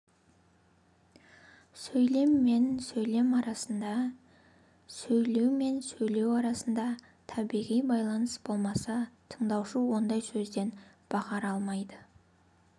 сөйлем мен сөйлем арасында сөйлеу мен сөйлеу арасында табиғи байланыс болмаса тыңдаушы ондай сөзден баһар алмайды